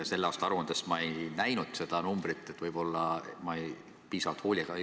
Selle aasta aruandes ma ei näinud seda numbrit – võib-olla ma ei otsinud piisava hoolega.